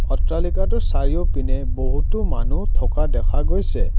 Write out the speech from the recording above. অট্টালিকাটোৰ চাৰিওপিনে বহুতো মানুহ থকা দেখা গৈছে।